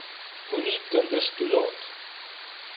moenie kinders toelaat